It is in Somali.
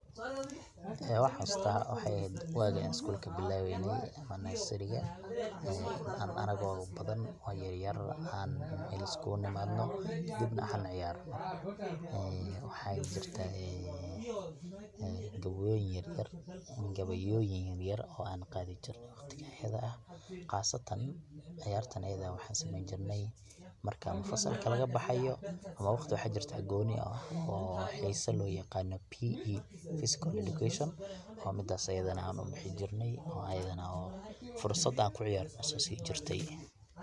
Waxan xususta wexey eheed wagan iskulka bilaweyne ama nasariga anago badan oo yaryar an meel iskugu nimadno kadibna an ciyarno, waxa jirta gabeyoyin yaryar oo an qadi jirne waqtiga iyada ah qasatan ciyartan ayada eh waxan sameyni jirne marka fasalka lagabaxayo ama waqti waxa jirta gonii ah oo sida loyaqano P.E physical education midas aya ubixi jirne oo ayadana fursad an kuciyarno nasini jirte.